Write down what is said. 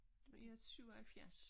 Jeg er 77